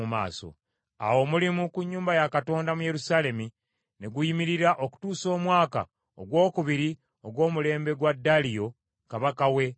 Awo omulimu ku nnyumba ya Katonda mu Yerusaalemi ne guyimirira okutuusa omwaka ogwokubiri ogw’omulembe gwa Daliyo kabaka w’e Buperusi.